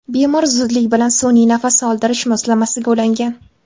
Bemor zudlik bilan sun’iy nafas oldirish moslamasiga ulangan.